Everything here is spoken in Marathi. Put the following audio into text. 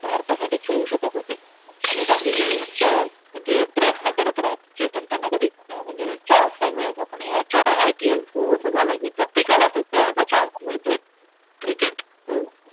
भारतासाठी खेळू शकत होते आणि बाकी चे फक्त म्हणजे प्रयत्न करत राहाय चे पण त्यांना कधीच म्हणजेच chance आहे. त्यामुळे आपण याच्या IPL through असं झालं की प्रत्येका ला तो खेळायचा chance मिळतोय. Cricket